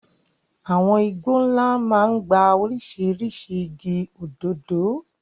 Àwọn igbó ńlá máa ń gba oríṣiríṣi igi, òdòdó.